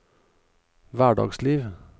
hverdagsliv